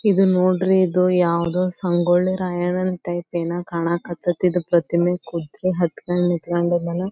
ಇದು ನೋಡ್ರಿ ಇದು ಯಾವದೋ ಸಂಗೊಳ್ಳಿರಾಯಣ್ಣ ನ ಟೈಪ್ ಏನೋ ಕಾಣಕತ್ತತಿ ಇದು ಪ್ರತಿಮೆ ಹತ್ತ್ ಕೊಂಡ್ ನಿಂತಕೊಂಡಿದನೆ.